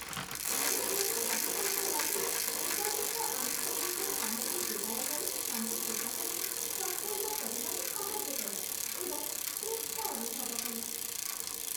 ମୁଁ ଜଣେ ଗ୍ରାହକଙ୍କ ଲାଗି ଉପଯୁକ୍ତ ଆନୁଷଙ୍ଗିକ ସାମଗ୍ରୀ ଯୋଗାଡ଼ କରି ତାଙ୍କୁ ପୋଷାକଟି ସମ୍ପୂର୍ଣ୍ଣ କରିବାରେ ସାହାଯ୍ୟ କଲି, ଏବଂ ତୃପ୍ତ ଅନୁଭବ କଲି।